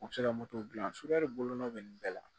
U bɛ se ka dilan sukaribunaw bɛ nin bɛɛ la